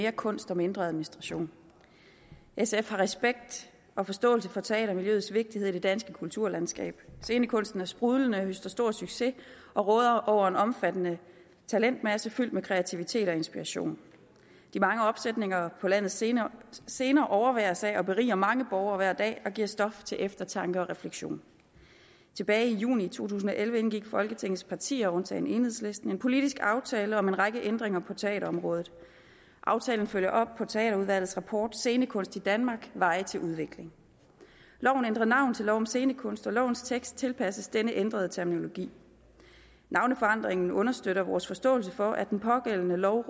mere kunst og mindre administration sf har respekt og forståelse for teatermiljøets vigtighed i det danske kulturlandskab scenekunsten er sprudlende og høster stor succes og råder over en omfattende talentmasse fyldt med kreativitet og inspiration de mange opsætninger på landets scener scener overværes af og beriger mange borgere hver dag og giver stof til eftertanke og refleksion tilbage i juni to tusind og elleve indgik folketingets partier undtagen enhedslisten en politisk aftale om en række ændringer på teaterområdet aftalen følger op på teaterudvalgets rapport scenekunst i danmark veje til udvikling loven ændrer navn til lov om scenekunst og lovens tekst tilpasses denne ændrede terminologi navneforandringen understøtter vores forståelse for at den pågældende lov